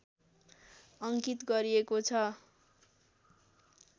अङ्कित गरिएको छ